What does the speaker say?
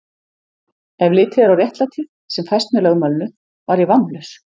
Ef litið er á réttlætið, sem fæst með lögmálinu, var ég vammlaus.